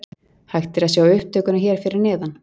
Hægt er að sjá upptökuna hér fyrir neðan.